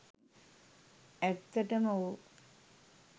ඇත්තටම ඔව්